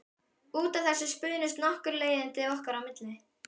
Út af þessu spunnust nokkur leiðindi okkar á milli.